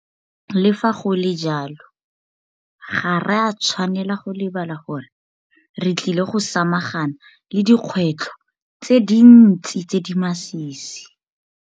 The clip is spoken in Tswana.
Le fa go le jalo, ga re a tshwanela go lebala gore re tlile go samagana le dikgwetlho tse dintsi tse di masisi.